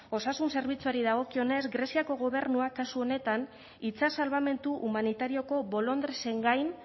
osasun zerbitzuari dagokionez greziako gobernuak kasu honetan itsas salbamendu humanitarioko bolondresen gain